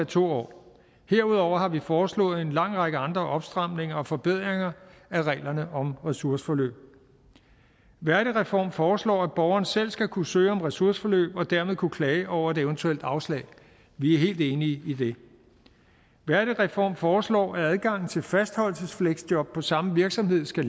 to år herudover har vi foreslået en lang række andre opstramninger og forbedringer af reglerne om ressourceforløb værdigreform foreslår at borgeren selv skal kunne søge om ressourceforløb og dermed kunne klage over et eventuelt afslag vi er helt enige i det værdigreform foreslår at adgangen til fastholdelsesfleksjob på samme virksomhed skal